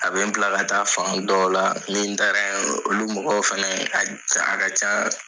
A bɛ n bila ka taa fan dɔw la ni n taara yen olu mɔgɔw fana a ka ca a ka ca